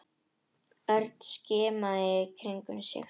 Örn skimaði í kringum sig.